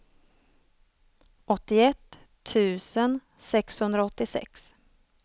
åttioett tusen sexhundraåttiosex